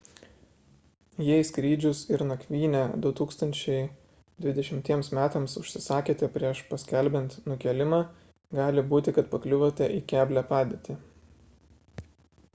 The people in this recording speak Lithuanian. jei skrydžius ir nakvynę 2020 metams užsisakėte prieš paskelbiant nukėlimą gali būti kad pakliuvote į keblią padėtį